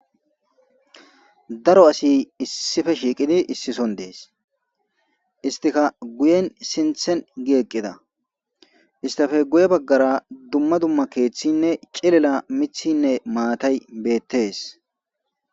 Daro asi issife shiiqidi issison dees istika guyen sinthen gi eqqida istafe guye baggara dumma dumma keeththinne celela mithinne maatay beettes.